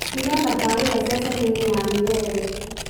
tiga tabarĩra ceceni-inĩ ya milele